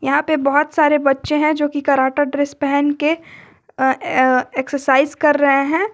यहां पर बहुत सारे बच्चे हैं जो की कराटा ड्रेस पहन के एक्सरसाइज कर रहे हैं।